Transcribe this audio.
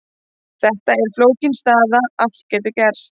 Þetta er flókin staða, allt getur gerst.